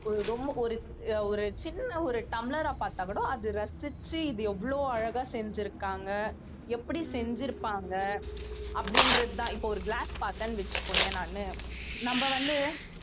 ஒரு ரொம்ப ஒரு ஒரு சின்ன ஒரு டம்ளரா பாத்தாக்கூட அது ரசிச்சு இது எவ்வளவு அழகா செஞ்சிருக்காங்க எப்படி செஞ்சிருப்பாங்க அப்படின்றதுதான் இப்போ ஒரு glass பார்த்தேன்னு வச்சுக்கோயேன் நானு நம்ம வந்து